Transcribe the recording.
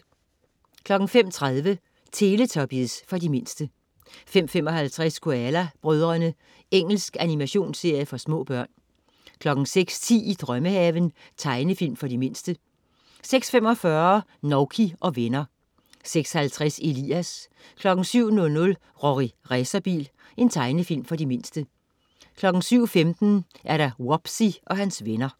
05.30 Teletubbies. For de mindste 05.55 Koala brødrene. Engelsk animationsserie for små børn 06.10 I drømmehaven. Tegnefilm for de mindste 06.45 Nouky og venner 06.50 Elias 07.00 Rorri Racerbil. Tegnefilm for de mindste 07.15 Wubbzy og hans venner